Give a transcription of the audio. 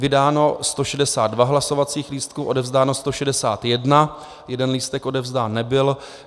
Vydáno 162 hlasovacích lístků, odevzdáno 161, jeden lístek odevzdán nebyl.